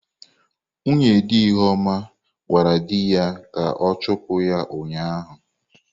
Nwunye di Ihuoma gwara di ha ka ọ chụpụ ya ụnyahụ.